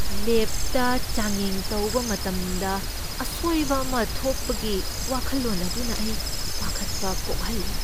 ꯂꯦꯕꯇ ꯆꯥꯡꯌꯦꯡ ꯇꯧꯕ ꯃꯇꯝꯗ ꯑꯁꯣꯏꯕ ꯑꯃ ꯊꯣꯛꯄꯒꯤ ꯋꯥꯈꯜꯂꯣꯟ ꯑꯗꯨꯅ ꯑꯩ ꯄꯥꯈꯠꯄ ꯄꯣꯛꯍꯜꯂꯤ꯫